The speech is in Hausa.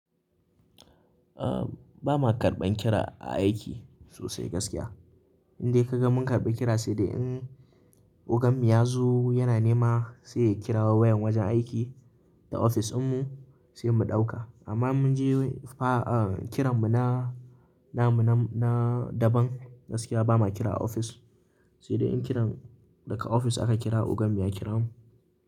Ahm, ba ma karɓan kira a aiki sosai gaskiya. Indai ka ga mun karɓi kira sai dai in ogan mu ya zo yana nema sai kirawo wayan wajen aiki da ofis dinmu sai mu ɗauka. Amma mun je fa a kira mu na namuna na daban gaskiya ba ma kira a ofis. Sai dai in kiran daga ofis aka kira ogan mu ya kiramu.